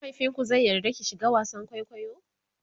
mahaifinku zai yarda ki shiga wasan kwaikwayo?